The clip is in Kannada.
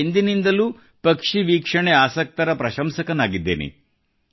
ನಾನು ಎಂದಿನಿಂದಲೂ ಪಕ್ಷಿವೀಕ್ಷಣೆ ಆಸಕ್ತರ ಪ್ರಶಂಸಕನಾಗಿದ್ದೇನೆ